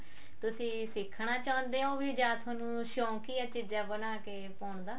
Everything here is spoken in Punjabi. ਤੁਸੀਂ ਸਿੱਖਣਾ ਚਾਹੁੰਦੇ ਹੋ ਜਾਂ ਵੀ ਤੁਹਾਨੂੰ ਸ਼ੋਂਕ ਹੀ ਆ ਚੀਜ਼ਾਂ ਬਣਾ ਕੇ ਪਾਉਣ ਦਾ